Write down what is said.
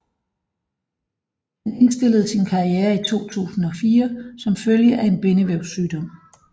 Han indstillede sin karriere i 2004 som følge af en bindevævssygdom